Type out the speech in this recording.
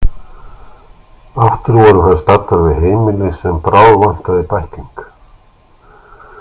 Aftur voru þær staddar við heimili sem bráðvantaði bækling.